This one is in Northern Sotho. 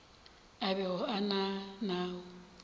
a bego a na nao